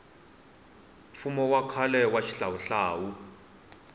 mfumo wa khale wa xihlawuhlawu